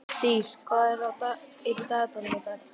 Dís, hvað er í dagatalinu í dag?